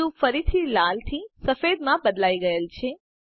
cube ફરીથી લાલ થી સફેદ માં બદલાઈ ગયેલ છે